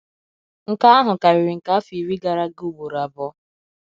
Nke ahụ karịrị nke afọ iri gara aga ụgboro abụọ.